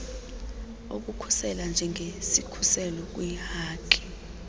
okukhusela njengesikhuselo kwiihaki